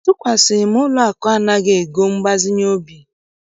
Atụkwasịghị m ụlọakụ anaghị ego mgbazinye obi.